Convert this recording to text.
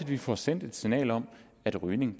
vi får sendt et signal om at rygning